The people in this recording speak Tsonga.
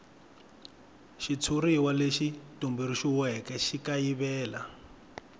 xitshuriwa lexi tumbuluxiweke xi kayivela